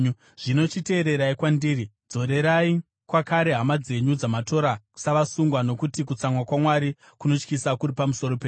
Zvino chiteererai kwandiri! Dzorerai kwakare hama dzenyu dzamatora savasungwa, nokuti kutsamwa kwaMwari kunotyisa kuri pamusoro penyu.”